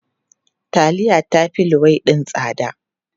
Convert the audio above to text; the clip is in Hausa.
Taliya ta fi luwaiɗi tsada.